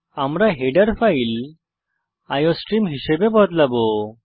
আমরা header file iostream হিসাবে বদলাবো